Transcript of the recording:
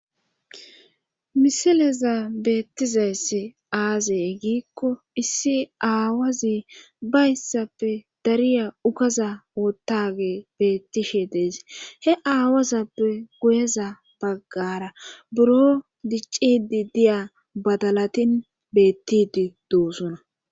misileza beettizayssi aazey giikko issi aawazi bayssappe dariya ukaza wottage bettishe dees he aawazappe guyeza baggara buro diccidi diya badalatin beettidi doosuna